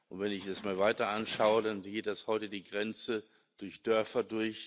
Und wenn ich das mal weiter anschaue, dann geht heute die Grenze durch Dörfer.